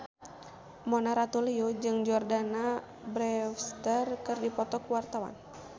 Mona Ratuliu jeung Jordana Brewster keur dipoto ku wartawan